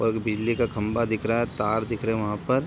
और बिजली का खंबा दिख रहा है तार दिख रहें वहां पर।